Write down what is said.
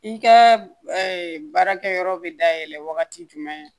I ka baarakɛyɔrɔ bɛ dayɛlɛ wagati jumɛn